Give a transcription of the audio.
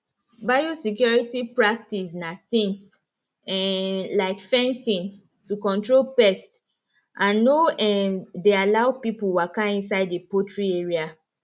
biosecurity practice na things um like fencing to control pest and no um dey allow people walka inside the poultry area